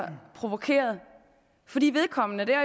provokeret fordi vedkommende